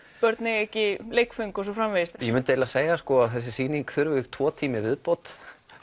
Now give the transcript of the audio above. börn eiga ekki leikföng og svo framvegis ég myndi segja að þessi sýning þurfi tvo tíma í viðbót